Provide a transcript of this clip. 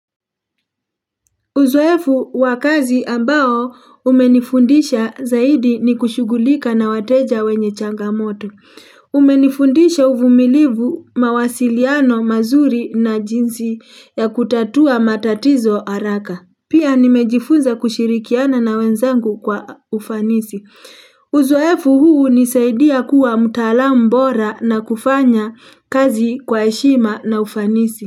Uzoefu wa kazi ambao umenifundisha zaidi ni kushugulika na wateja wenye changamoto. Umenifundisha uvumilivu mawasiliano mazuri na jinsi ya kutatua matatizo haraka. Pia nimejifunza kushirikiana na wenzangu kwa ufanisi. Uzoefu huu hunisaidia kuwa mutalam bora na kufanya kazi kwa heshima na ufanisi.